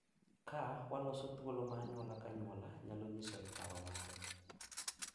Ka waloso thuolo ma anyuola ka anyuola nyalo nyisoe paro mare,